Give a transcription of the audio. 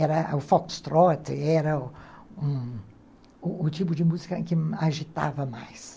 Era o foxtrot, era um o tipo de música que agitava mais.